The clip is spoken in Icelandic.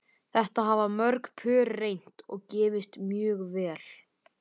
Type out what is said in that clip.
Þetta hafa mörg pör reynt og gefist mjög vel.